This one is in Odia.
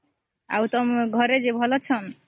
ଆଉ ତମେ ଘରେ ଭଲ ଅଛନ୍ତି